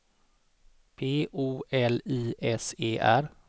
P O L I S E R